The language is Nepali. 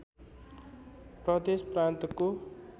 प्रदेश प्रान्तको